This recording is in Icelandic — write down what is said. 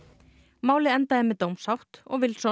málið endaði með dómsátt og